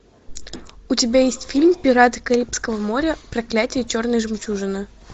у тебя есть фильм пираты карибского моря проклятие черной жемчужины